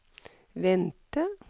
vente